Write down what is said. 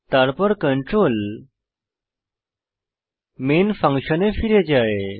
তারপর control main ফাংশনে ফিরে যায়